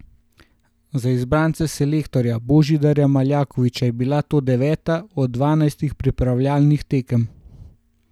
Za izbrance selektorja Božidarja Maljkovića je bila to deveta od dvanajstih pripravljalnih tekem.